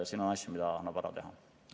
Siin on asju, mida annab ära teha.